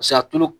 Paseke a tulo